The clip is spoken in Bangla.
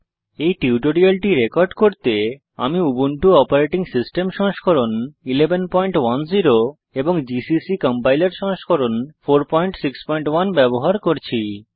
এই টিউটোরিয়ালটি রেকর্ড করতে আমি উবুন্টু অপারেটিং সিস্টেম সংস্করণ 1110 এবং জিসিসি কম্পাইলার সংস্করণ 461 ব্যবহার করছি